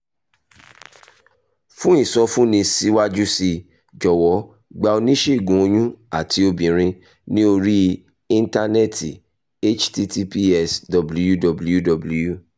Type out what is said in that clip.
fún ìsọfúnni síwájú sí i jọ̀wọ́ gba oníṣègùn oyún àti obìnrin ní orí íńtánẹ́ẹ̀tì --> https://www